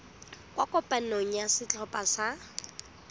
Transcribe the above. kwa kopanong ya setlhopha sa